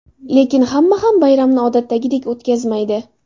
Lekin hamma ham bayramni odatdagidek o‘tkazmaydi.